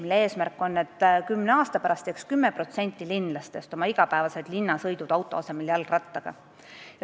Selle eesmärk on, et kümne aasta pärast teeks 10% linlastest oma igapäevased linnasõidud auto asemel jalgrattaga.